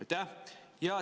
Aitäh!